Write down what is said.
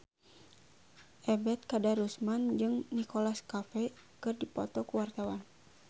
Ebet Kadarusman jeung Nicholas Cafe keur dipoto ku wartawan